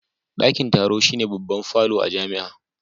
Dakin taro shine babban falo a jami'a